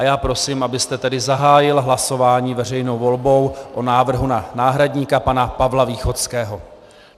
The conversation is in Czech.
A já prosím, abyste tedy zahájil hlasování veřejnou volbou o návrhu na náhradníka pana Pavla Východského.